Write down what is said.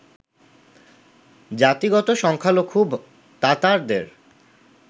জাতিগত সংখ্যালঘু তাতারদের